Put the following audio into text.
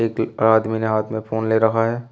एक आदमी ने हाथ में फोन ले रखा है।